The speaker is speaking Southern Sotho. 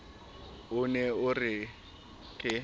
o ne o re ke